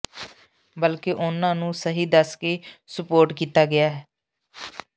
ਬਲਕਿ ਉਨ੍ਹਾਂ ਨੂੰ ਸਹੀ ਦੱਸ ਕੇ ਸੁਪੋਰਟ ਕੀਤਾ ਗਿਆ